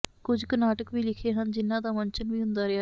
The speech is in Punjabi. ਕੁੱਝ ਕੁ ਨਾਟਕ ਵੀ ਲਿਖੇ ਹਨ ਜਿਨਾਂ ਦਾ ਮੰਚਨ ਵੀ ਹੁੰਦਾ ਰਿਹਾ ਹੈ